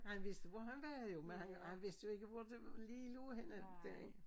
Han vidste hvor man var jo men han han vidste ikke hvor det lige lå henne derinde